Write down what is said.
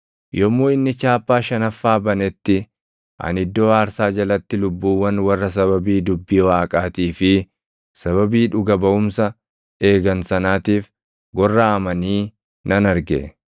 Yommuu inni chaappaa shanaffaa banetti ani iddoo aarsaa jalatti lubbuuwwan warra sababii dubbii Waaqaatii fi sababii dhuga baʼumsa eegan sanaatiif gorraʼamanii nan arge.